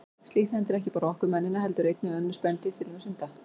Slíkt hendir ekki bara okkur mennina heldur einnig önnur spendýr, til dæmis hunda.